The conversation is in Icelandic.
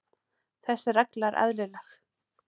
Þessi regla er eðlileg.